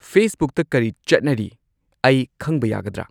ꯐꯦꯁꯕꯨꯛꯇ ꯀꯔꯤ ꯆꯠꯅꯔꯤ ꯑꯩ ꯈꯪꯕ ꯌꯥꯒꯗ꯭ꯔ